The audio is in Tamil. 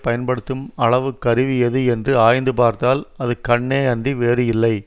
பயன்படுத்தும் அளவு கருவி எது என்று ஆய்ந்து பார்த்தால் அது கண்ணே அன்றி வேறு இல்லை